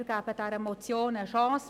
Wir geben der Motion eine Chance.